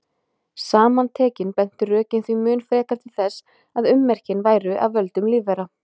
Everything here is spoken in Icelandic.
Saman tekin bentu rökin því mun frekar til þess að ummerkin væru af völdum lífvera.